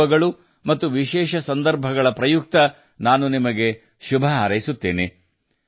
ಈ ಹಬ್ಬಗಳು ಮತ್ತು ವಿಶೇಷ ಸಂದರ್ಭಗಳಲ್ಲಿ ನಾನು ನಿಮಗೆ ಶುಭ ಹಾರೈಸುತ್ತೇನೆ